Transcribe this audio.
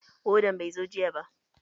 Wadan bai zo jiya ba.